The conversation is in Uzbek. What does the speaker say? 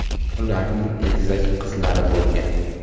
Ularning egizak qizlari bo‘lgan.